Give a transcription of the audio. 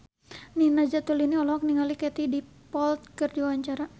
Nina Zatulini olohok ningali Katie Dippold keur diwawancara